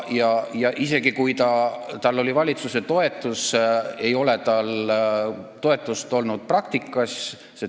Ja isegi kui tal oli valitsuse toetus, ei ole tal toetust olnud praktikas.